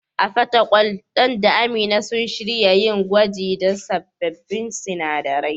A Fatakwal, Dan da Amina sun shirya yin gwaji da sabbin sinadaran.